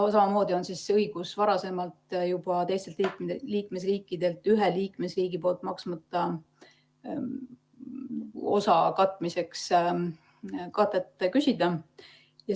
Samamoodi on juba varasemalt olnud õigus teistelt liikmesriikidelt ühe liikmesriigi maksmata osa katmiseks katet küsida.